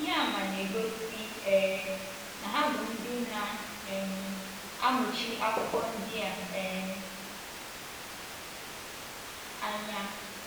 Ihe àmà na - egosi um na ha bụ ndị na - um amụchi akwụkwọ ndi a um anya.